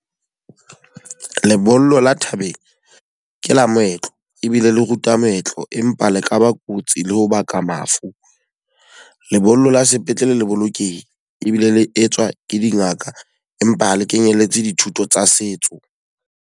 Lebollo la thabeng, ke lo moetlo ebile le ruta moetlo. Empa le ka ba kotsi le ho baka mafu. Lebollo la sepetlele le bolokehile ebile le etswa ke dingaka. Empa ha le kenyelletse dithuto tsa setso.